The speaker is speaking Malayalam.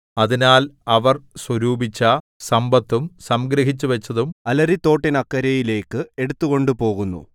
അതിനാൽ അവർ സ്വരൂപിച്ച സമ്പത്തും സംഗ്രഹിച്ചുവച്ചതും അലരിത്തോട്ടിനക്കരയിലേക്ക് എടുത്തുകൊണ്ടുപോകുന്നു